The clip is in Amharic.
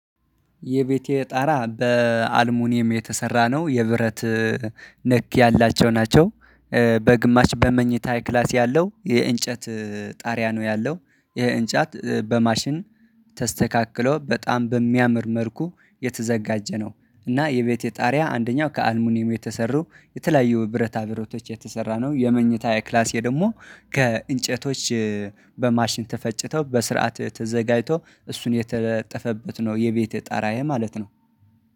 የቤቴ ጣራ በአልሙኒየም የተሰራ ነው። የብረት ነክ ያላቸው ናቸው። በግማሽ በመኝታዬ ክላስ ያለው የእንጨት ጣሪያ ነው ያለው። ይሄ እንጨት በማሽን ተስተካክሎ በጣም በሚያምር መልኩ የተዘጋጀ ነው። እና የቤቴ ጣሪያ አንደኛው ከአልሙኒየም የተሰሩ የተለያዩ ብረታ ብረቶች የተሰራ ነው የመኝታ የክላሴ ደግሞ ከእንጨቶች በማሽን ተፈጭተው በስርዓት ተዘጋጅቶ እሱን የተለጠፈበት ነው የቤቴ ጣራዬ ማለት ነው።